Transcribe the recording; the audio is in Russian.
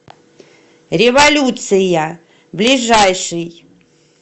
революция ближайший